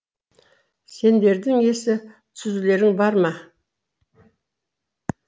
сендердің есі түзулерің бар ма